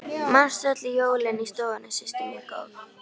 Manstu öll jólin í stofunni systir mín góð.